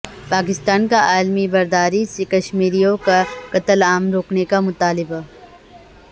پاکستان کاعالمی برادری سے کشمیریوں کا قتل عام روکنے کا مطالبہ